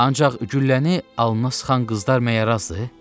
Ancaq gülləni alnına sıxan qızlar məgər azdır?